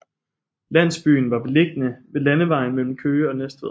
Landsbyen var beliggende ved landevejen mellem Køge og Næstved